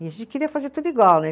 E a gente queria fazer tudo igual, né?